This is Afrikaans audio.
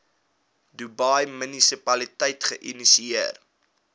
dubai munisipaliteit geïnisieer